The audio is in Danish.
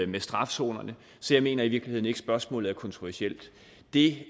med strafzonerne så jeg mener i virkeligheden ikke at spørgsmålet er kontroversielt det